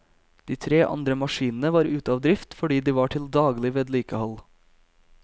De tre andre maskinene var ute av drift fordi de var til daglig vedlikehold.